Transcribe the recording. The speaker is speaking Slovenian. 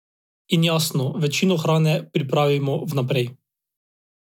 In, jasno, večino hrane pripravimo vnaprej.